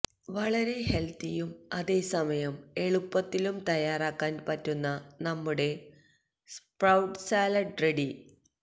വളരെ ഹെൽത്തിയും അതേസമയം എളുപ്പത്തിലും തയാറാക്കാൻ പറ്റുന്ന നമ്മുടെ സ്പ്രൌട്ട് സാലഡ് റെഡി